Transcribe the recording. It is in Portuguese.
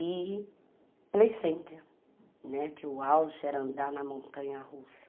E Play Center, né, que o auge era andar na montanha russa.